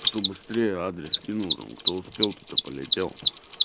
кто быстрее адрес скинул кто успел тот и полетел